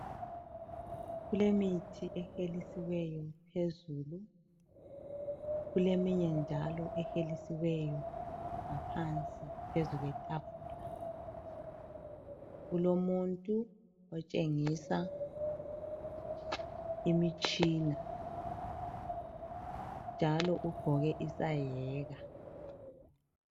Kulemithi ehelisiweyo phezulu, kuleminye njalo ehelisiweyo ngaphansi phezu kwetafula. Kulomuntu otshengisa imitshina njalo ugqoke isaheka.